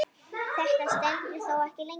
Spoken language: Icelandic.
Þetta stendur þó ekki lengi.